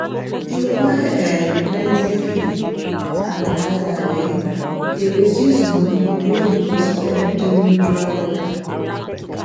to buy um plenty feed and hide am um dey reduce money wey you go spend during dry weather